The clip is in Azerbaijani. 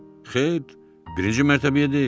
Xeyr, birinci mərtəbəyə deyil.